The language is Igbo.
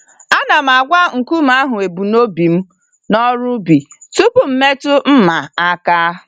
Ana m agwa nkume ahụ ebum nobi mụ n'ọrụ ubi tupu m metụ mma aka.